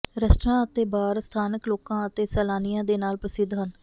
restaurant ਅਤੇ bar ਸਥਾਨਕ ਲੋਕਾਂ ਅਤੇ ਸੈਲਾਨੀਆਂ ਦੇ ਨਾਲ ਪ੍ਰਸਿੱਧ ਹਨ